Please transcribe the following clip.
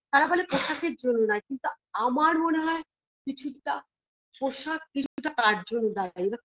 তারা বলে পোশাকের জন্য নয় কিন্তু আমার মনে হয় কিছুটা পোশাক কিছুটা তার জন্য দায়ী এইবার